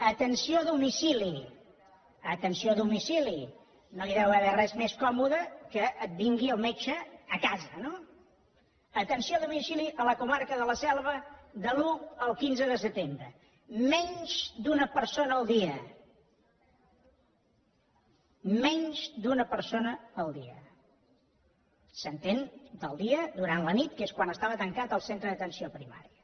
atenció a domicili no hi deu haver res més còmode que et vingui el metge a casa no atenció a domicili a la comarca de la selva de l’un al quinze de setembre menys d’una persona al dia menys d’una persona al dia s’entén del dia durant la nit que és quan estava tancat el centre d’atenció primària